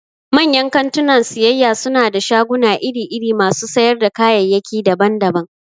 Manyan kantunan siyayya suna da shaguna iri-iri masu sayar da kayayyaki daban-daban.